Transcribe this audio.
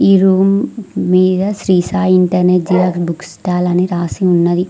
ఈ రూమ్ మీద Shri Sai internet Xerox book stall అని రాసి ఉన్నది.